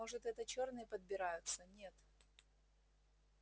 может это чёрные подбираются нет